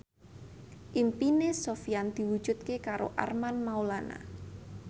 impine Sofyan diwujudke karo Armand Maulana